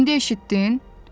İndi eşitdin?